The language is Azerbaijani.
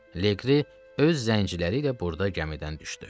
Leqri öz zənciləri ilə burda gəmidən düşdü.